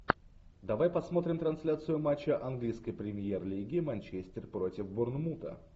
давай посмотрим трансляцию матча английской премьер лиги манчестер против борнмута